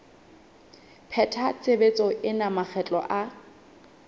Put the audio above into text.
pheta tshebetso ena makgetlo a